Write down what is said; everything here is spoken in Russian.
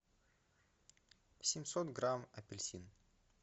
семьсот грамм апельсин